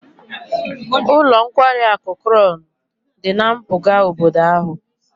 Ụlọ nkwari akụ Crown dị na mpụga obodo ahụ